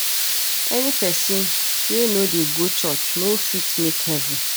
Any pesin wey no dey go church no fit make heaven.